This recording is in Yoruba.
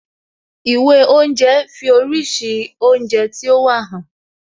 Ìwé oúnje fi oríṣi oúnjẹ tí ó wà hàn